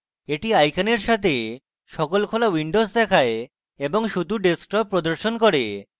এটি আইকনের সাথে সকল খোলা windows দেখায় এবং শুধুমাত্র desktop প্রদর্শন করে